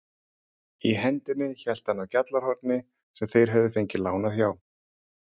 Í hendinni hélt hann á GJALLARHORNI sem þeir höfðu fengið lánað hjá